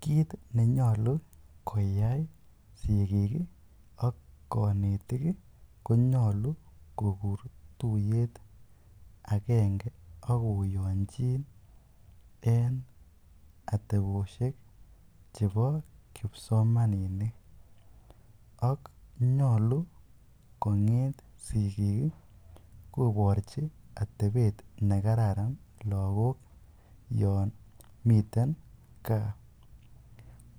Kiit nenyolu koyai sikik ak konetik konyolu kokur tuyet akenge ak koyonjin en ateboshek chebo kipsomaninik ak nyolu konget sikiik koborchi atebet nekararan lokok yoon miten kaa,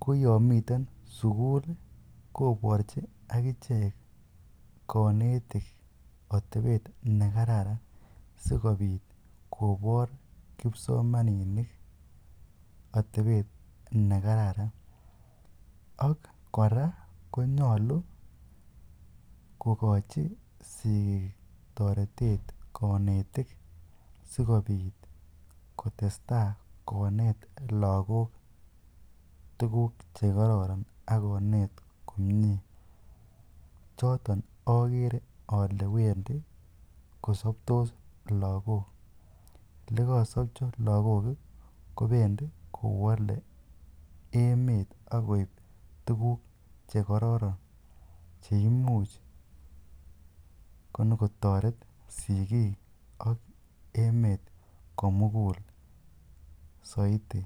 ko yoon miten sukul koborchi akichek konetik otebet nekararan sikobit kobor kipsomaninik atebet nekararan ak kora konyolu kokochi sikiik toretet konetik sikobit kotesta konet lokok tukuk chekororon ak konet komnye, choton okere olee wendi kosobtos lokok, elekosobcho lokok kobendi kowole emet akoib tukuk chekororon cheimuch konyo kotoret sikik ak emet komukul soiti.